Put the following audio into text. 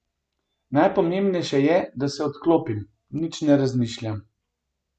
Najpomembnejše je, da se odklopim, nič ne razmišljam.